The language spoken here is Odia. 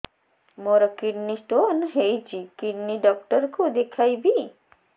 ମୋର କିଡନୀ ସ୍ଟୋନ୍ ହେଇଛି କିଡନୀ ଡକ୍ଟର କୁ ଦେଖାଇବି